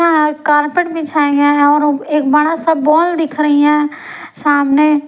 Carpet बिछाए गए हैंऔर एक बड़ा सा बॉल दिख रही है सामने।